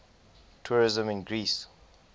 tourism in greece